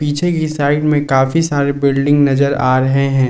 पीछे की साइड में काफी सारे बिल्डिंग नजर आ रहे हैं।